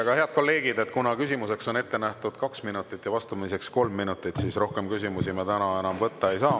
Nii, head kolleegid, kuna küsimuseks on ette nähtud kaks minutit ja vastamiseks kolm minutit, siis rohkem küsimusi ma täna enam võtta ei saa.